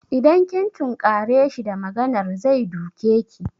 Idan kin tunkare shi da maganar zai duke ki.